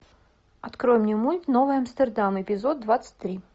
открой мне мульт новый амстердам эпизод двадцать три